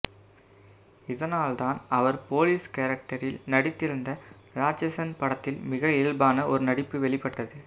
இதனால் தான் அவர் போலீஸ் கேரக்டரில் நடித்திருந்த ராட்சசன் படத்தில் மிக இயல்பான ஒரு நடிப்பு வெளிப்பட்டது